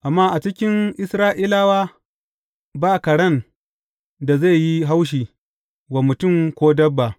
Amma a cikin Isra’ilawa, ba karen da zai yi haushi wa mutum ko dabba.’